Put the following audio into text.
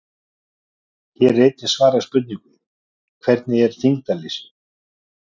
Hér er einnig svarað spurningunum: Hvernig er þyngdarleysi?